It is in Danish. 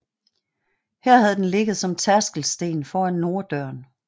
Her havde den ligget som tærskelsten foran norddøren